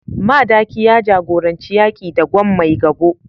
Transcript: Madaki ya jagoranci yaki da Gwan Maigabo